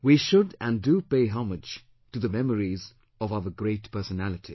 We should and do pay homage to the memories of our great personalities